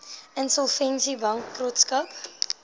insolvensiebankrotskap